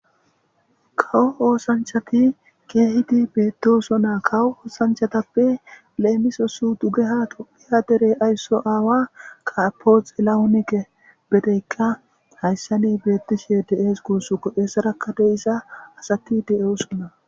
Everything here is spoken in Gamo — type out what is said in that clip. kawo oosanchati keehidi beettosona kawo oosanchatappe leemisosu dugeha toqiya derey aysso aawa kapoxelawunike bedeykka hayssani beettishe de7ees guussuko eessaraka deisa asati de7oosona